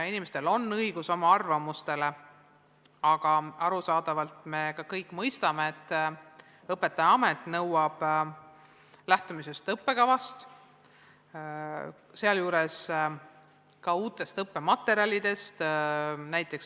Inimestel on õigus oma arvamusele, aga arusaadavalt me kõik mõistame, et õpetajaamet nõuab lähtumist õppekavast, sealjuures uutest õppematerjalidest.